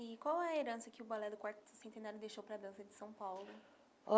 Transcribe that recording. E qual é a herança que o Balé do Quarto Centenário deixou para a dança de São Paulo?